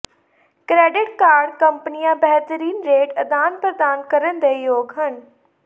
credit card ਕੰਪਨੀਆਂ ਬਿਹਤਰੀਨ rate ਅਦਾਨ ਪ੍ਰਦਾਨ ਕਰਨ ਦੇ ਯੋਗ ਹਨ